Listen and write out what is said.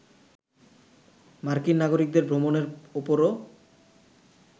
মার্কিন নাগরিকদের ভ্রমণের ওপরও